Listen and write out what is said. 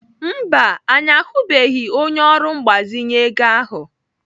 Mba, anyị ahụbeghị onye ọrụ mgbazinye ego ahụ.